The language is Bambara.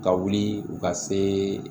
Ka wuli u ka se